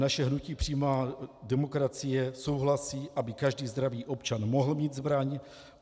Naše hnutí Přímá demokracie souhlasí, aby každý zdravý občan mohl mít zbraň.